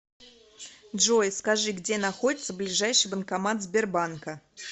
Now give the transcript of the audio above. джой скажи где находится ближайший банкомат сбербанка